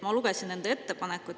Ma lugesin nende ettepanekuid.